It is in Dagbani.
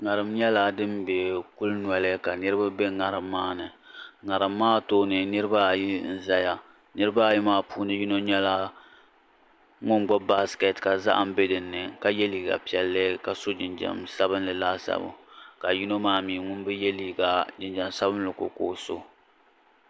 ŋariŋ nyɛla din be kuli noli ka niriba be ŋariŋ maa puuni ŋariŋ maa tooni niriba ayi n zaya niriba ayi maa puuni nyɛla ŋun gbubi baasikɛt ka zahim be dinni ka yɛ liiga piɛlli ka so jinjam sabinli laasabu ka yino maa mi ŋun bi yɛ liiga jinjam sabinli ko ka o so.